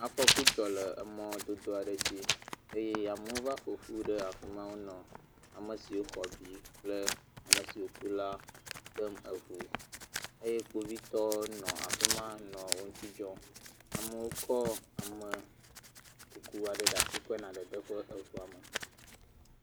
Afɔku dzɔ le emɔ dodo aɖe dzi eye amewo va ƒoƒu ɖe afima nɔ ame siwo xɔ abi kple ame siwo ku la ɖem eʋu eye kpovitɔwo nɔ afima nɔ wo ŋuti dzɔm. Amewo kɔ ame kuku aɖe ɖe asi kɔ yi dede ge eʋua me.